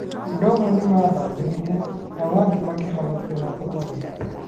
Andũ amwe nĩ maathambĩire, nao arĩa angĩ makĩhonokio na tũtarũ.